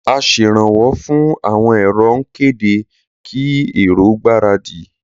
Aseranwọ́ fún àwọn èrò ń kéde kí èrò gbáradì